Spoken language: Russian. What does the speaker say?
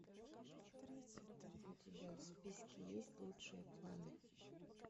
у тебя в списке есть лучшие планы